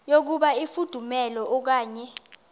yokuba ifudumele okanye